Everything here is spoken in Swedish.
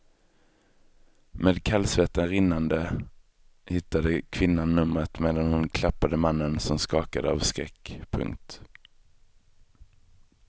Med kallsvetten rinnande hittade kvinnan numret medan hon klappade mannen som skakade av skräck. punkt